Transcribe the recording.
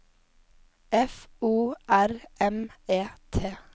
F O R M E T